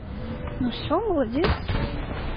ну все молодец